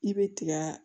I bɛ tiga